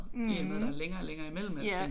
I og med der er længere og længere i mellem alting